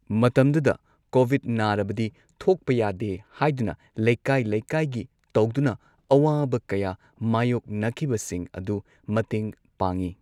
ꯃꯇꯝꯗꯨꯗ ꯀꯣꯚꯤꯗ ꯅꯥꯔꯕꯗꯤ ꯊꯣꯛꯄ ꯌꯥꯗꯦ ꯍꯥꯏꯗꯨꯅ ꯂꯩꯀꯥꯏ ꯂꯩꯀꯥꯏꯒꯤ ꯇꯧꯗꯨꯅ ꯑꯋꯥꯕ ꯀꯌꯥ ꯃꯥꯏꯌꯣꯛꯅꯈꯤꯕꯁꯤꯡ ꯑꯗꯨ ꯃꯇꯦꯡ ꯄꯥꯡꯉꯤ꯫